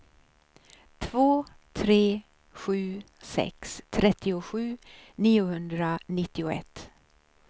två tre sju sex trettiosju niohundranittioett